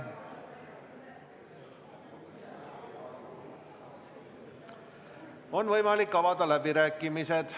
On võimalik avada läbirääkimised.